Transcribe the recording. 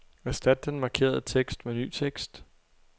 Erstat den markerede tekst med ny tekst.